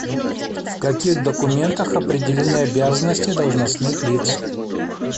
в каких документах определены обязанности должностных лиц